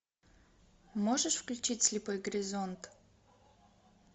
можешь включить слепой горизонт